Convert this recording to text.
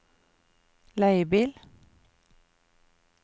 leiebil